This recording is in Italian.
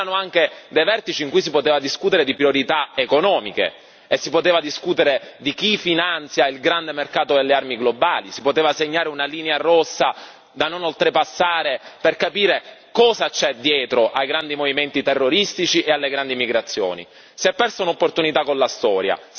Ma erano anche dei vertici in cui si poteva discutere di priorità economiche, di chi finanzia il grande mercato delle armi globali si poteva segnare una linea rossa da non oltrepassare per capire cosa c'è dietro ai grandi movimenti terroristici e alle grandi migrazioni. Si è persa un'opportunità con la storia